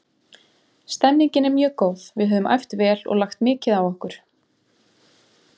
Stemningin er mjög góð, við höfum æft vel og lagt mikið á okkur.